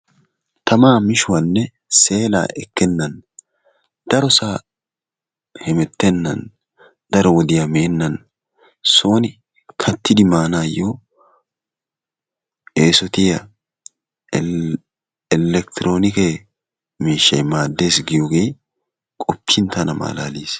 Tamaa mishuwanne seelaa ekkennan darosaa hemettennan daro wodiya meennan sooni kattidi maanaayyo eesotiya elekitiroonike miishshayi maaddes giyogee qoppin tana malaalis.